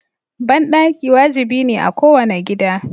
Banɗaki wajibi ne a kowane gida.